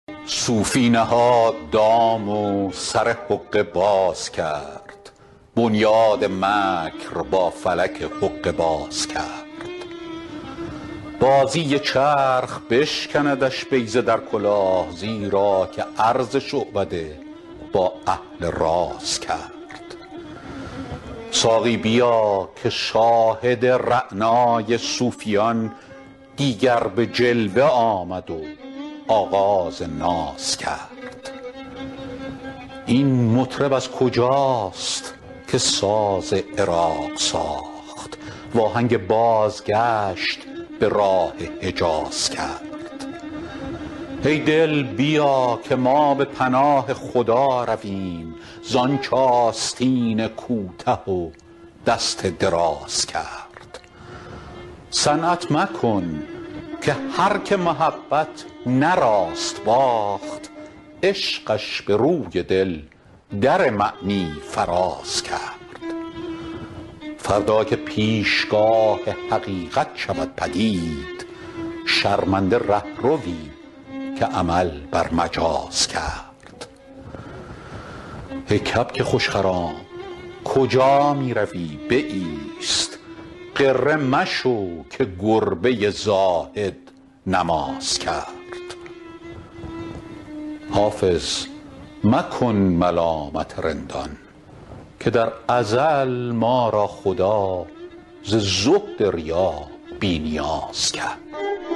صوفی نهاد دام و سر حقه باز کرد بنیاد مکر با فلک حقه باز کرد بازی چرخ بشکندش بیضه در کلاه زیرا که عرض شعبده با اهل راز کرد ساقی بیا که شاهد رعنای صوفیان دیگر به جلوه آمد و آغاز ناز کرد این مطرب از کجاست که ساز عراق ساخت وآهنگ بازگشت به راه حجاز کرد ای دل بیا که ما به پناه خدا رویم زآنچ آستین کوته و دست دراز کرد صنعت مکن که هرکه محبت نه راست باخت عشقش به روی دل در معنی فراز کرد فردا که پیشگاه حقیقت شود پدید شرمنده رهروی که عمل بر مجاز کرد ای کبک خوش خرام کجا می روی بایست غره مشو که گربه زاهد نماز کرد حافظ مکن ملامت رندان که در ازل ما را خدا ز زهد ریا بی نیاز کرد